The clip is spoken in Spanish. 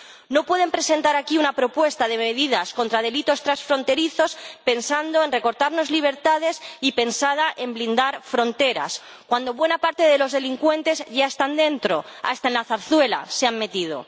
No pueden presentar aquí una propuesta de medidas contra delitos transfronterizos pensando en recortarnos libertades y en blindar fronteras cuando buena parte de los delincuentes ya están dentro —hasta en La Zarzuela se han metido—.